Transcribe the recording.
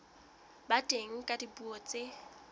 ba teng ka dipuo tse